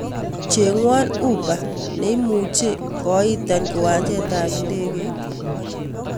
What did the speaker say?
Cheng'wan uber nemuchi koitan kiwanjet ab indegeit